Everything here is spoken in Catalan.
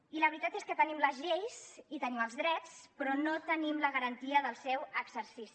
i la veritat és que tenim les lleis i tenim els drets però no tenim la garantia del seu exercici